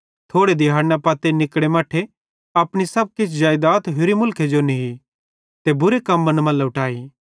थोड़े दिहैड़ना पत्ती निकड़े मट्ठे अपनू सब किछ जेइदात होरि मुलखे जो नी ते बुरे कम्मन मां लुट्टाई